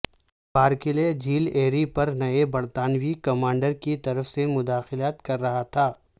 Barclay جھیل Erie پر نئے برتانوی کمانڈر کی طرف سے مداخلت کررہا تھا